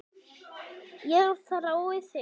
Ég þrái þig